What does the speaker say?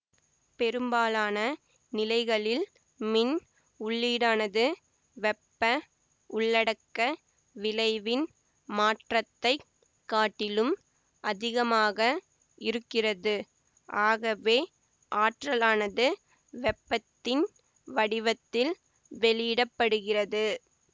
பெரும்பாலான நிலைகளில் மின் உள்ளீடானது வெப்ப உள்ளடக்க விளைவின் மாற்றத்தை காட்டிலும் அதிகமாக இருக்கிறது ஆகவே ஆற்றலானது வெப்பத்தின் வடிவத்தில் வெளியிடப்படுகிறது